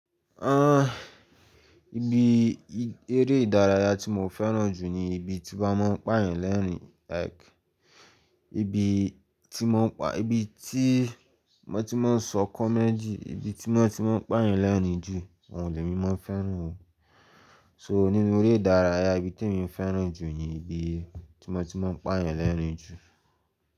Ah, ibi eré ìdárayá tí mo fẹ́ràn jù ni ibi tí wọ́n máa ń pààyàn lẹ́rín like ibi tí wọ́n ti máa ń sọ comedy, ibi tí wọ́n ti máa ń pààyàn lẹ́rín jù, òun lè mi mọ́ fẹ́ràn o. So nínú eré ìdárayá ibi tí èmi fẹ́ràn jù ni ibi tí wọ́n ti máa ń pààyàn lẹ́rín jù.